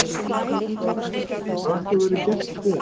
Magnús Hlynur Hreiðarsson: Hvað viltu að verði gert í stöðunni?